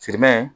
Sirimɛ